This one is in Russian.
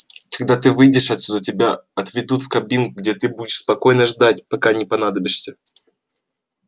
когда ты выйдешь отсюда тебя отведут в кабину где ты будешь спокойно ждать пока не понадобишься